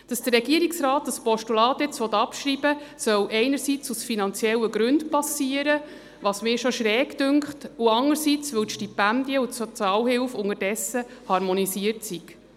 Dass der Regierungsrat das Postulat jetzt abschrieben will, solle einerseits aus finanziellen Gründen geschehen – was mir schon seltsam genug erscheint –, andererseits, weil Stipendien und Sozialhilfe unterdessen harmonisiert seien.